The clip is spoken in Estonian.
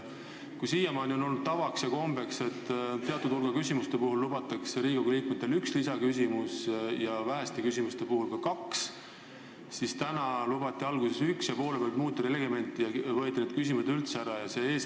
Kui siiamaani on tavaks olnud, et teatud hulga põhiküsimuste korral lubatakse Riigikogu liikmetele üks lisaküsimus ja väheste küsimuste puhul ka kaks, siis täna lubati alguses üks, aga poole pealt muudeti reglementi ja võeti lisaküsimuse esitamise õigus üldse ära.